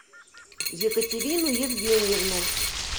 екатерину евгеньевну